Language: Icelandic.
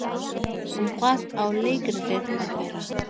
Um hvað á leikritið að vera?